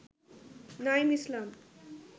Naim Islam